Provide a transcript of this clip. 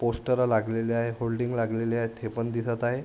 Poster लागलेले आहे holding लागलेले आहेत हे पण दिसत आहे.